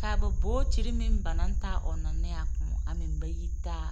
kaa babootiri meŋ ba naŋ taa ɔnnɔ ne a koɔ a meŋ ba yi taa.